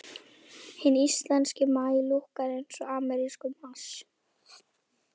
Hinn íslenski maí lúkkar eins og amerískur mars.